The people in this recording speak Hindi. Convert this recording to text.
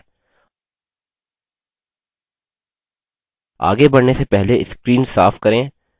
आगे बढ़ने से पहले screen साफ करें